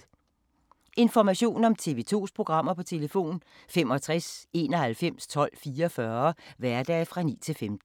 Information om TV 2's programmer: 65 91 12 44, hverdage 9-15.